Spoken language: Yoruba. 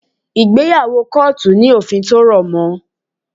Ìgbéyàwó kọ́ọ̀tù ní òfin tí ó rọ̀ mọ́